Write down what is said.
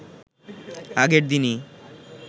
আগের দিনই